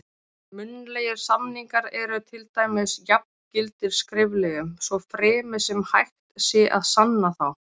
Munnlegir samningar eru til dæmis jafngildir skriflegum, svo fremi sem hægt sé að sanna þá.